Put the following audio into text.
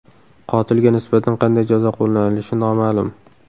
Qotilga nisbatan qanday jazo qo‘llanilishi noma’lum.